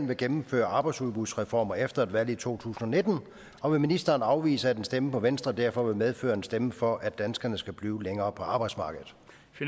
vil gennemføre arbejdsudbudsreformer efter et valg i to tusind og nitten og vil ministeren afvise at en stemme på venstre derfor vil medføre en stemme for at danskerne skal blive længere på arbejdsmarkedet